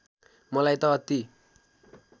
मलाई त अति